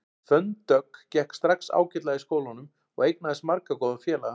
Fönn Dögg gekk strax ágætlega í skólanum og eignaðist marga góða félaga.